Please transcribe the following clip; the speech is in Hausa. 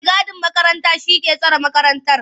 mai gadin makarantar shi ke tsare makarantar.